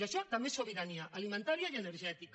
i això també és sobirania alimentària i energètica